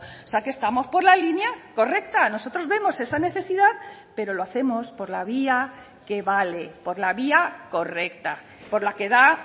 o sea que estamos por la línea correcta nosotros vemos esa necesidad pero lo hacemos por la vía que vale por la vía correcta por la que da